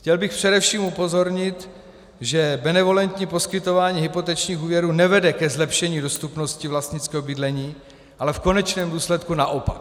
Chtěl bych především upozornit, že benevolentní poskytování hypotečních úvěrů nevede ke zlepšení dostupnosti vlastnického bydlení, ale v konečném důsledku naopak.